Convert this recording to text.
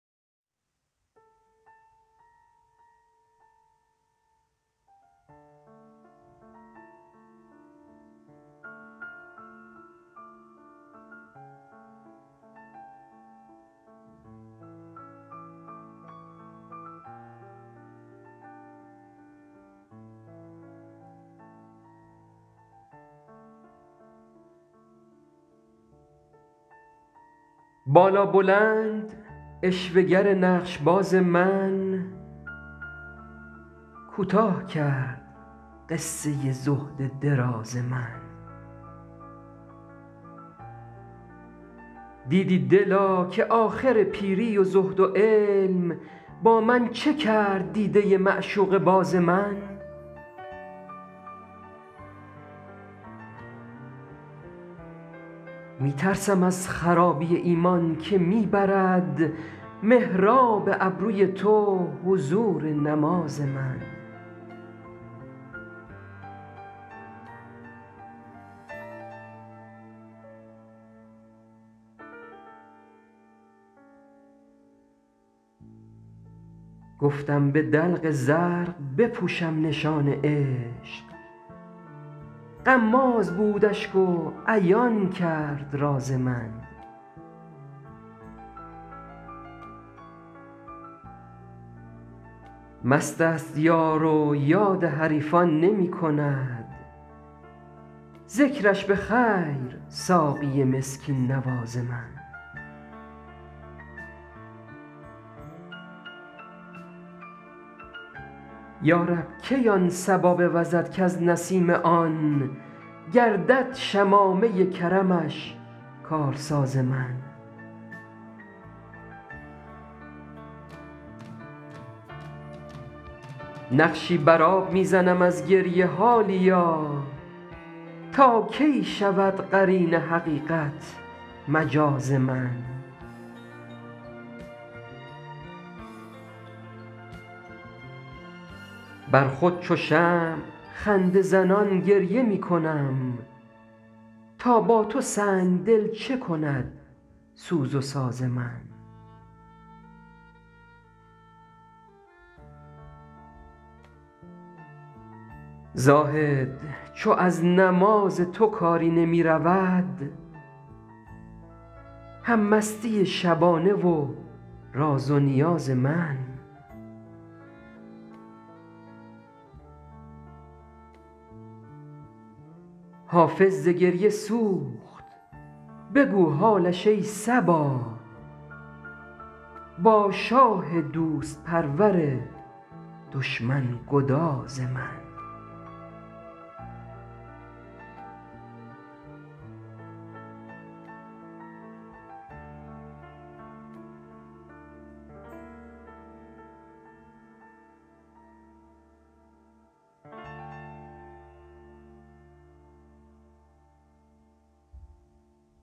بالابلند عشوه گر نقش باز من کوتاه کرد قصه زهد دراز من دیدی دلا که آخر پیری و زهد و علم با من چه کرد دیده معشوقه باز من می ترسم از خرابی ایمان که می برد محراب ابروی تو حضور نماز من گفتم به دلق زرق بپوشم نشان عشق غماز بود اشک و عیان کرد راز من مست است یار و یاد حریفان نمی کند ذکرش به خیر ساقی مسکین نواز من یا رب کی آن صبا بوزد کز نسیم آن گردد شمامه کرمش کارساز من نقشی بر آب می زنم از گریه حالیا تا کی شود قرین حقیقت مجاز من بر خود چو شمع خنده زنان گریه می کنم تا با تو سنگ دل چه کند سوز و ساز من زاهد چو از نماز تو کاری نمی رود هم مستی شبانه و راز و نیاز من حافظ ز گریه سوخت بگو حالش ای صبا با شاه دوست پرور دشمن گداز من